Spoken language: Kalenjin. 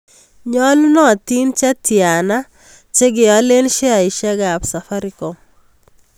Nyolunotin che tyana che kialen sheaisiekap Safaricom